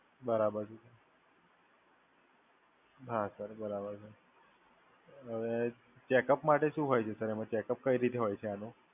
બરાબર છે. હા સર બરાબર છે. અને હવે ચેકઅપ માટે શું હોય છે? એમ ચેકઅપ કઈ રીતે હોય છે આનો?